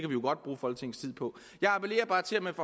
jo godt bruge folketingets tid på jeg appellerer bare til at man